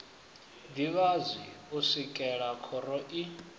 ḓivhadzwi u swikela khoro i